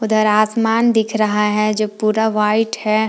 उधर आसमान दिख रहा है जो पूरा व्हाइट है।